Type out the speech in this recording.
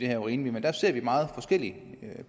er rimeligt men der ser vi meget forskelligt